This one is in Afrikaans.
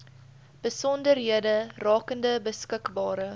besonderhede rakende beskikbare